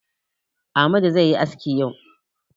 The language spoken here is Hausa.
Amadu zai yi aski yau.